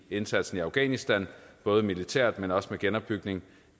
indsatsen i afghanistan både militært men også med genopbygning